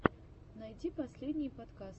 найти последние подкасты